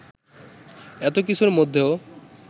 এতো কিছুর মধ্যেও